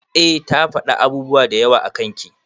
Eh ta fada abubuwa dayawa akan ki.